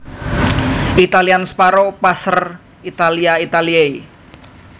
Italian Sparrow Passer italiae italiae